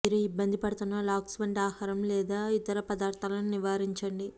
మీరు ఇబ్బంది పడుతున్న లాక్స్ వంటి ఆహారం లేదా ఇతర పదార్ధాలను నివారించండి